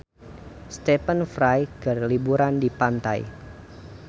Stephen Fry keur liburan di pantai